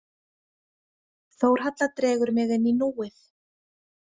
Þórhalla dregur mig inn í núið.